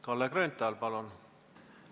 Kalle Grünthal, palun!